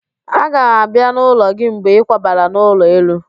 Aga m abịa n'ụlọ gị mgbe ịkwabara n'ụlọ elu